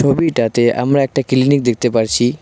তবিটাতে আমরা একটা ক্লিনিক দেখতে পারছি।